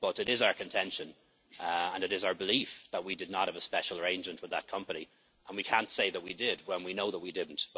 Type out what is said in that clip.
But it is our contention and it is our belief that we did not have a special arrangement with that company, and we can't say that we did when we know that we didn't.